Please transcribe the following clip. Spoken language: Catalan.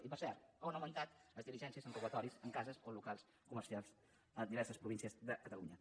i per cert han augmentat les diligències en robatoris en cases o en locals comercials a diverses províncies de catalunya